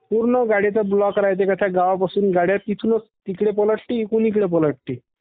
पूर्ण गाडीचे ब्लॉक रायते पूर्ण त्या गावापासून गाड्या तिथूनच तिकडं पालटतील इकडून इकडे पालटतील.